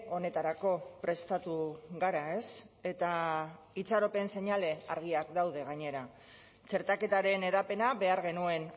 honetarako prestatu gara ez eta itxaropen seinale argiak daude gainera txertaketaren hedapena behar genuen